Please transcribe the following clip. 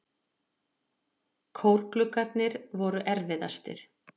Kórgluggarnir voru erfiðastir.